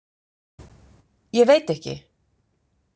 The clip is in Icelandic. Ég veit ekki.